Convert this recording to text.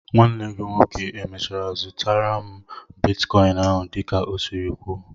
Nwanne gị nwoke e mèchàrà zụtaru m bịtkọin áhù dị ka ọ siri kwuó?